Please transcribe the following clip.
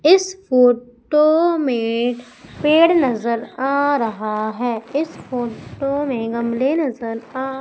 इस फोटो में पेड़ नजर आ रहा है इस फोटो में गमले नजर आ--